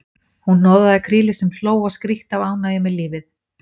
Hún hnoðaði krílið sem hló og skríkti af ánægju með lífið.